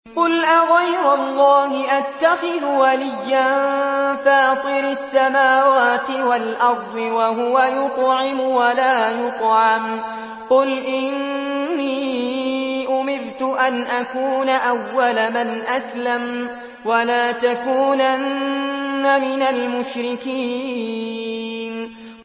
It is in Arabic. قُلْ أَغَيْرَ اللَّهِ أَتَّخِذُ وَلِيًّا فَاطِرِ السَّمَاوَاتِ وَالْأَرْضِ وَهُوَ يُطْعِمُ وَلَا يُطْعَمُ ۗ قُلْ إِنِّي أُمِرْتُ أَنْ أَكُونَ أَوَّلَ مَنْ أَسْلَمَ ۖ وَلَا تَكُونَنَّ مِنَ الْمُشْرِكِينَ